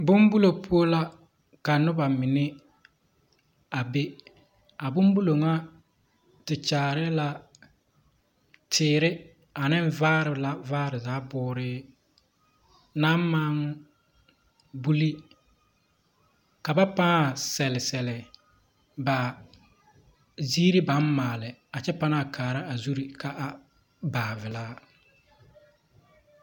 Bombolo poɔ la ka noba mine a be . A bombulo ŋa te kyaare la teere a neŋ vaare la vaa zaa booree naŋ maŋ buli ka ba pãã sɛle sɛlɛ ba gyiiri baŋ maale a kyɛ pãã kaara a zure kaa a baa belaa.